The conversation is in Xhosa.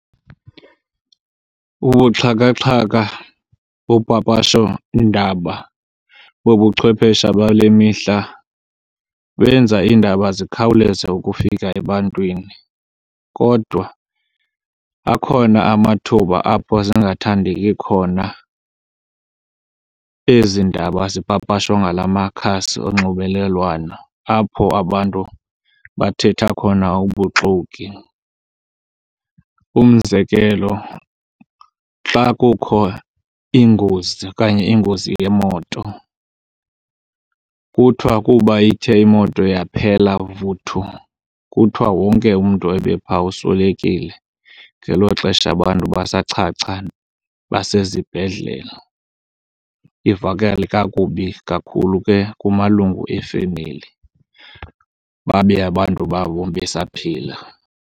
Ubuxhakaxhaka, upapashondaba bobuchwephesha bale mihla benza iindaba zikhawuleze ukufika ebantwini. Kodwa akhona amathuba apho zingathandeki khona ezi ndaba zipapashwa ngalamakhasi onxibelelwano apho abantu bathetha khona ubuxoki. Umzekelo, xa kukho iingozi okanye ingozi yemoto kuthwa kuba ithe imoto yaphela vuthu kuthwa wonke umntu ebe pha uswelekile, ngelo xesha abantu basachacha basezibhedlele. Ivakale kakubi kakhulu ke kumalungu efemeli babe abantu babo besaphila.